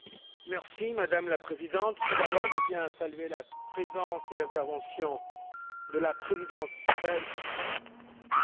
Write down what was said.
Madame la Présidente, tout d'abord je tiens à saluer la présence et l'intervention de la Présidence belge du Conseil.